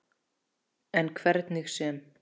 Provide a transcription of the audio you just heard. En hvernig sem